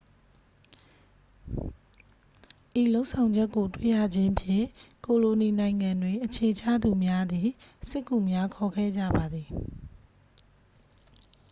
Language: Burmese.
ဤလုပ်ဆောင်ချက်ကိုတွေ့ရခြင်းဖြင့် ကိုလိုနီနိုင်ငံတွင်အခြေချသူများသည် စစ်ကူများခေါ်ခဲ့ကြပါသည်